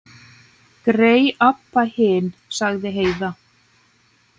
Grey Abba hin, sagði Heiða.